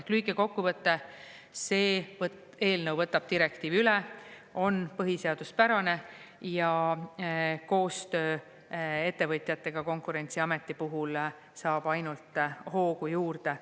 Ehk lühike kokkuvõte: see eelnõu võtab direktiivi üle, on põhiseaduspärane ja koostöö ettevõtjatega Konkurentsiameti puhul saab ainult hoogu juurde.